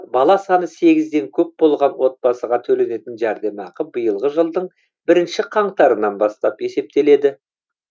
бала саны сегізден көп болған отбасыға төленетін жәрдемақы биылғы жылдың бірінші қаңтарынан бастап есептеледі